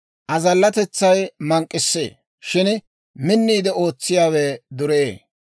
Azallatetsay mank'k'issee; shin minniide ootsiyaawe dureyee.